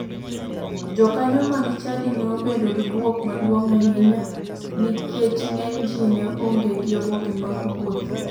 Jokanyo mag chadi ne obedo gi bwok maduong ahinya nikech ng'eny ji ne onge gi oboke mag wuoth.